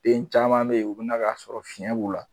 Den caman be yen u bina k'a sɔrɔ fiɲɛ b'u la